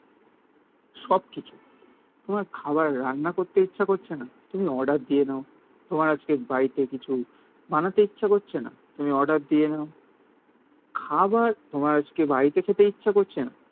সবকিছু তোমার খাবার রান্না করতে ইচ্ছা করছে না? তুমি অর্ডার দিয়ে দাও. তোমার আজকে বাড়িতে কিছু বানাতে ইচ্ছে করছে না. তুমি অর্ডার দিয়ে নাও. খাবার তোমার আজকে বাড়িতে খেতে ইচ্ছে করছে না.